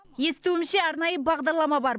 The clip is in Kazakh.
естуімше арнайы бағдарлама бар